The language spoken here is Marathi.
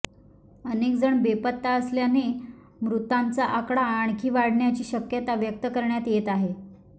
अनेक जण बेपत्ता असल्याने मृतांचा आकडा आणखी वाढण्याची शक्यता व्यक्त करण्यात येत आहे